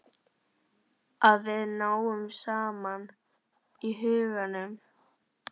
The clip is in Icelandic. Að við náum saman í huganum.